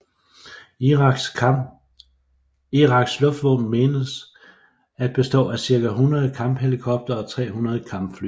Iraks luftvåben mentes at bestå af cirka 100 kamphelikoptere og 300 kampfly